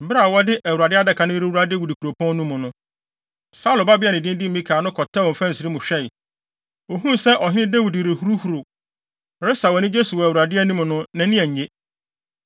Bere a wɔde Awurade Adaka no rewura Dawid Kuropɔn no mu no, Saulo babea a ne din de Mikal no kɔtɛwee mfɛnsere mu hwɛe. Ohuu sɛ ɔhene Dawid rehuruhuruw, resaw anigye so wɔ Awurade anim no, nʼani annye.